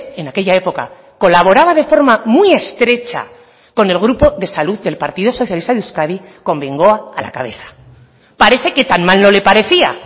en aquella época colaboraba de forma muy estrecha con el grupo de salud del partido socialista de euskadi con bengoa a la cabeza parece que tan mal no le parecía